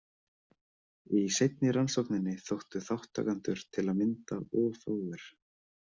Í seinni rannsókninni þóttu þátttakendur til að mynda of fáir.